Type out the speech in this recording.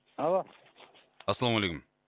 алло ассалаумалейкум